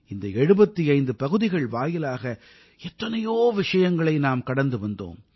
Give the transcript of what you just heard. இந்த 75 பகுதிகள் வாயிலாக எத்தனையோ விஷயங்களை நாம் கடந்து வந்தோம்